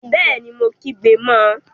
Bẹẹni, Mo kígbe mọ